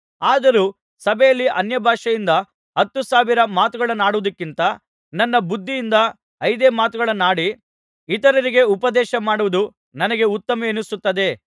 ಆದರೂ ಸಭೆಯಲ್ಲಿ ಅನ್ಯಭಾಷೆಯಿಂದ ಹತ್ತು ಸಾವಿರ ಮಾತುಗಳನ್ನಾಡುವುದಕ್ಕಿಂತ ನನ್ನ ಬುದ್ಧಿಯಿಂದ ಐದೇ ಮಾತುಗಳನ್ನಾಡಿ ಇತರರಿಗೆ ಉಪದೇಶಮಾಡುವುದು ನನಗೆ ಉತ್ತಮವೆನಿಸುತ್ತದೆ